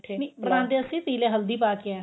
ਨਹੀਂ ਬਣਾਦੇ ਅਸੀਂ ਪੀਲੇ ਹਲਦੀ ਪਾਕੇ ਆਂ